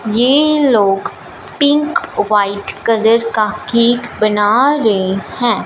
ये लोग pink white colour का केक बना रहे हैं।